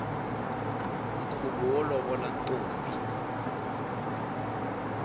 nkhuvo wo lovola ntombi